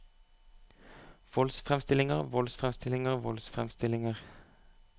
voldsfremstillinger voldsfremstillinger voldsfremstillinger